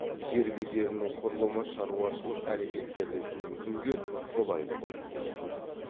жер бедерінің құрылымы шаруашылық әрекеттерді жүргізуге қолайлы болып келеді